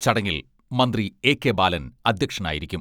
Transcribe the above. ചടങ്ങിൽ മന്ത്രി A K Balan അധ്യക്ഷനായിരിക്കും.